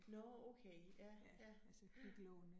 Nåh okay, ja, ja, ja